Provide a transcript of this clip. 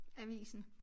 Avisen